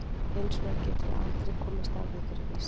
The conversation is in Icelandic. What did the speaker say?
Hins vegar getum við aldrei komist að því fyrir víst.